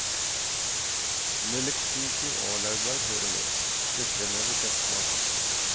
Nellikspiker og laurbær hører med, det fremhever kjøttsmaken.